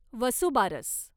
Vasubaras